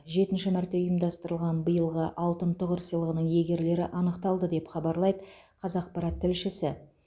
жетінші мәрте ұйымдастырылған биылғы алтын тұғыр сыйлығының иегерлері анықталды деп хабарлайды қазақпарат тілшісі